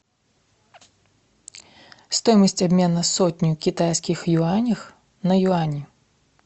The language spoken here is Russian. стоимость обмена сотни китайских юаней на юани